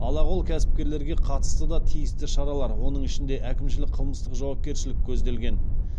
алақол кәсіпкерлерге қатысты да тиісті шаралар оның ішінде әкімшілік қылмыстық жауапкершілік көзделген